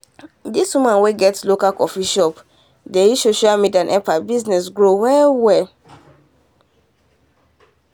this woman wey get local coffee shop dey use social media help her business grow well well.